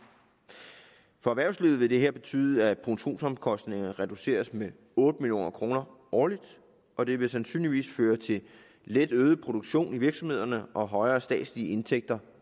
for erhvervslivet vil det her betyde at produktionsomkostningerne reduceres med otte million kroner årligt og det vil sandsynligvis føre til let øget produktion i virksomhederne og højere statslige indtægter